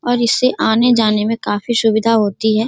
और इससे आने जाने में काफी सुविधा होती है।